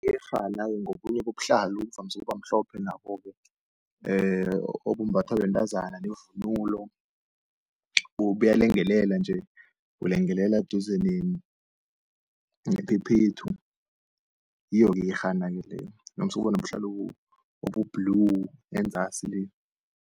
Iyerhana-ke ngobunye bobuhlalo buvamise ukuba mhlophe nabo-ke, obumbathwa bentazana nevunulo, buyalengelela nje bulengelela duze nephephethu, yiyo-ke iyerhana-ke leyo. Ivamise ukuba nobuhlalo obu-blue enzasi le.